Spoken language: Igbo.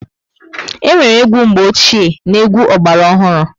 E nwere egwu mgbe ochie na egwu ogbara ohuru